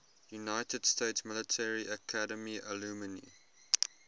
united states military academy alumni